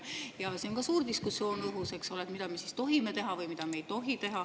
Siin on ka õhus suur diskussioon, mida me siis tohime teha ja mida ei tohi.